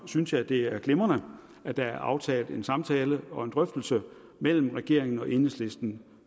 synes jeg at det er glimrende at der er aftalt en samtale og en drøftelse mellem regeringen og enhedslisten